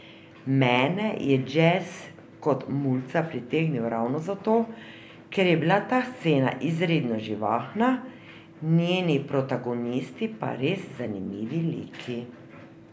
Mene je džez kot mulca pritegnil ravno zato, ker je bila ta scena izredno živahna, njeni protagonisti pa res zanimivi liki.